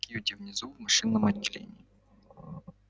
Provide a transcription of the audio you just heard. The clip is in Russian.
кьюти внизу в машинном отделении